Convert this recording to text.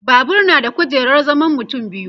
Babur na da kujerar zaman mutum biyu